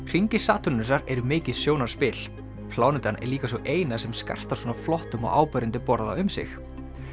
hringir Satúrnusar eru mikið sjónarspil plánetan er líka sú eina sem skartar svona flottum og áberandi borða um sig